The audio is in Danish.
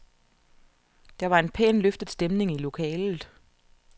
Der var en pænt løftet stemning i lokalet.